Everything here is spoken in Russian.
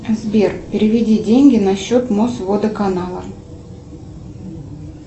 сбер переведи деньги на счет мосводоканала